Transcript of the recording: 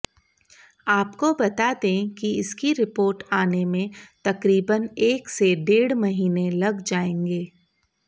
आपको बता दें कि इसकी रिपोर्ट आने में तकरीबन एक से डेढ़ महीने लग जाएंगे